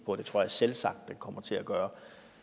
og det tror jeg selvsagt den kommer til at gøre